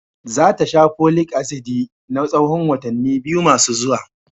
Za ta sha Folic asidi na tsahon watanni biyu masu zuwa.